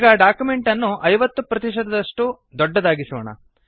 ಈಗ ಡಾಕ್ಯುಮೆಂಟ್ ಅನ್ನು 50 ಪ್ರತಿಶತದಷ್ಟು ದೊಡ್ಡದಾಗಿಸೋಣ